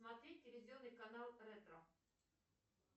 смотреть телевизионный канал ретро